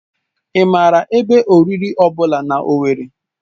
Ị maara ebe oriri ọ bụla na Owerri?